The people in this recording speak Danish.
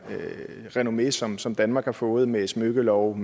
renommé som som danmark har fået med smykkeloven